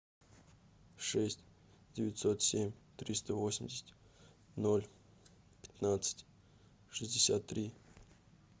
шесть девятьсот семь триста восемьдесят ноль пятнадцать шестьдесят три